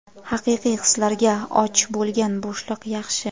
haqiqiy hislarga och bo‘lgan bo‘shliq yaxshi.